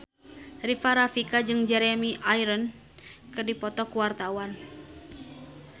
Rika Rafika jeung Jeremy Irons keur dipoto ku wartawan